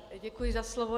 Děkuji za slovo.